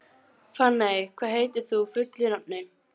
Fanney, hvað heitir þú fullu nafni?